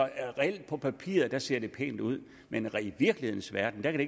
på papiret ser det pænt ud men i virkelighedens verden kan